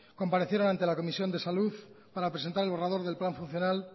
comparecieron ante la comisión de salud para presentar el borrador del plan funcional